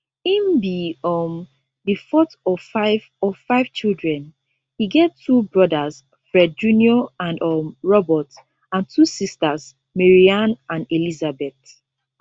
im be um di fourth of five of five children e get two brothers fred jr and um robert and two sisters maryanne and elizabeth